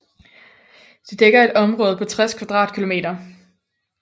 Det dækker et område på 60 km²